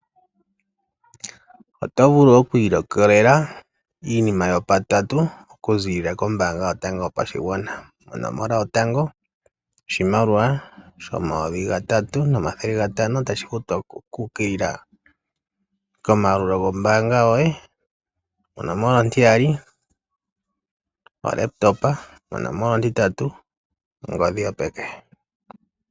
Oto vulu kwiilikolela iinima yopatatu okuziilila kombaanga yotango yopashigwana, onomola yotango oshimaliwa shomayovi 3500 tashi futwa shiukilila komaalulilo gombaanga yoye, onomola ontiyali ocomputa yopaumwene onomola ontitatu ongodhi yopeke.